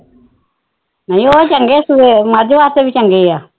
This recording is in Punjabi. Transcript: ਨਹੀ ਉਹ ਚੰਗੇ ਸੂਹੇ ਮੱਝ ਵਾਸਤੇ ਵੀ ਚੰਗੇ ਆ